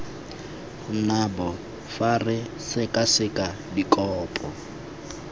nabo fa re sekaseka dikopo